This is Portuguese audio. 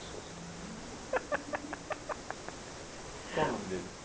susto. Qual o nome deles?